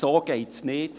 «So geht es nicht!